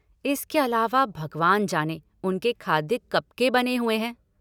इसके अलावा, भगवान जाने, उनके खाद्य कब के बने हुए हैं।